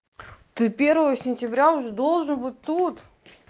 ты первого сентября уже должен быть тут